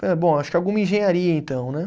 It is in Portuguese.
Eh bom, acho que alguma engenharia então, né?